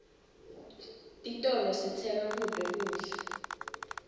titolo sitsenga kuto kudla